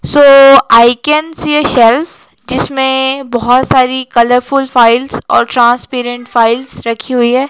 So I can see a shelf जिसमें बहोत सारी कलरफुल फाइल्स और ट्रांसपेरेंट फाइल्स रखी हुई है।